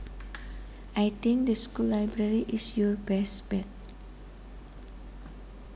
I think the school library is your best bet